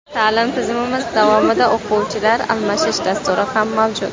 Ta’lim tizimimiz davomida o‘quvchilar almashish dasturi ham mavjud.